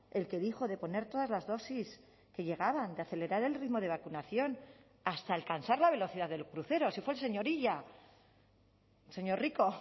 el que dijo de poner todas las dosis que llegaban de acelerar el ritmo de vacunación hasta alcanzar la velocidad del crucero si fue el señor illa señor rico